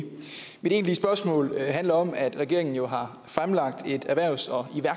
mit egentlige spørgsmål handler om at regeringen jo har fremlagt et erhvervs og